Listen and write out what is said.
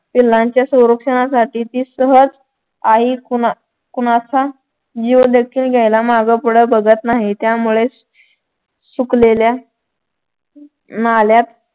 पिल्लांच्या सौरक्षणासाठी ती सहज आई कोणाच्या जीव देखील घ्यायला मागे पुढे बघत नाही त्यामुळे सुकलेल्या नाल्यात